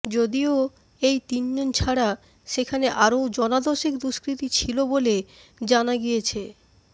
যদিও এই তিনজন ছাড়া সেখানে আরও জনা দশেক দুষ্কৃতী ছিল বলে জানা গিয়েছে